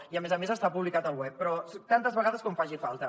i a més a més està publicat al web però tantes vegades com faci falta